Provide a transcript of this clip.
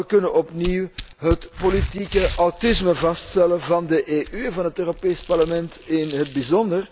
Maar we kunnen opnieuw het politiek autisme vaststellen van de EU en van het Europees Parlement in het bijzonder,